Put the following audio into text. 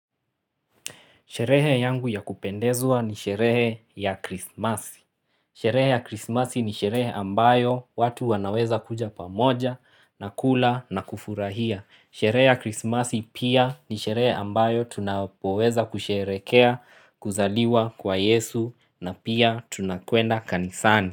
Sherehe yangu ya kupendezwa ni sherehe ya krismasi. Sherehe ya krismasi ni sherehe ambayo watu wanaweza kuja pamoja na kula na kufurahia. Sherehe ya krismasi pia ni sherehe ambayo tunapoweza kusherekea kuzaliwa kwa yesu na pia tunakwenda kanisani.